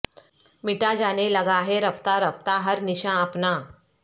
مٹا جانے لگا ہے رفتہ رفتہ ہر نشاں اپنا